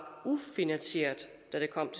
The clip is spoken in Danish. ufinansieret da det kom